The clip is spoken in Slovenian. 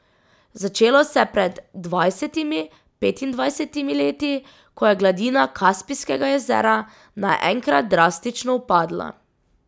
Začelo se je pred dvajsetimi, petindvajsetimi leti, ko je gladina Kaspijskega jezera naenkrat drastično upadla.